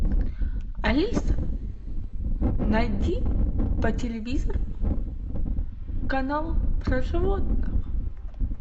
алиса найди по телевизору канал про животных